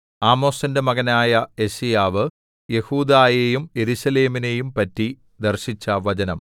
ആമോസിന്റെ മകനായ യെശയ്യാവ് യെഹൂദായെയും യെരൂശലേമിനെയും പറ്റി ദർശിച്ച വചനം